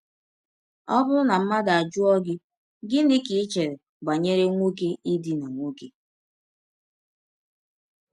Ọ bụrụ na mmadụ ajụọ gị: “ Gịnị ka i chere banyere nwọke ịdina nwọke? ”